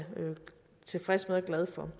tilfreds med og glad for